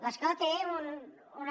l’escola té una